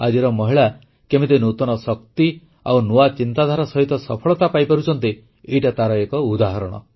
ଆଜିର ମହିଳା କେମିତି ନୂତନ ଶକ୍ତି ଓ ନୂଆ ଚିନ୍ତାଧାରା ସହିତ ସଫଳତା ପାଇପାରୁଛନ୍ତି ଏହା ତାର ଏକ ଉଦାହରଣ